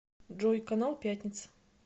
джой канал пятница